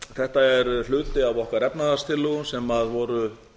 þetta er hluti af okkar efnahagstillögum sem voru